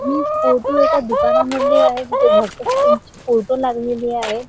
हि फोटो एका दुकानामधली आहे जिथे भगत सिग ची फोटो लागलेली आहे.